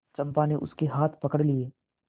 चंपा ने उसके हाथ पकड़ लिए